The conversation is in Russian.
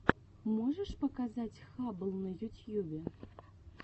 можешь показать хаббл на ютьюбе